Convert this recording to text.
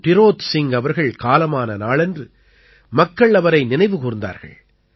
டிரோத் சிங் அவர்கள் காலமான நாளன்று மக்கள் அவரை நினைவு கூர்ந்தார்கள்